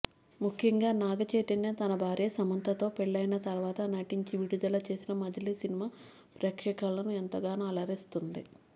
ముఖ్యంగా నాగచైతన్య తన భార్య సమంతతో పెళ్లయిన తర్వాత నటించి విడుదల చేసిన మజిలీ సినిమా ప్రేక్షకులను ఎంతగానో అలరిస్తుంది